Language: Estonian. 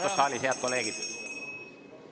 Palun vaikust saalis, head kolleegid!